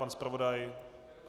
Pan zpravodaj?